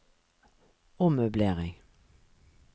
ommøblering